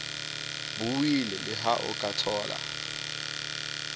buile leha o ka thola